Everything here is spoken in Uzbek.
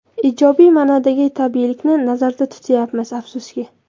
Ijobiy ma’nodagi tabiiylikni nazarda tutmayapmiz, afsuski.